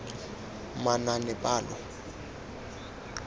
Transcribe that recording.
manaanepalo